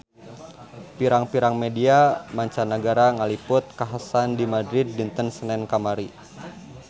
Pirang-pirang media mancanagara ngaliput kakhasan di Madrid dinten Senen kamari